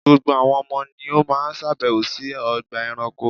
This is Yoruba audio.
Gbogbo àwọn ọmọ ni ó máa sàbẹ̀wò sí ọgbà ẹranko.